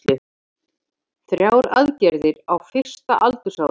Þrjár aðgerðir á fyrsta aldursári